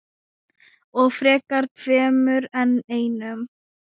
Og frekar tveimur en einum.